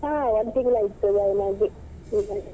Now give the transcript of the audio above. ಹಾ ಒಂದು ತಿಂಗಳಾಯ್ತು join ಆಗಿ ಈಗ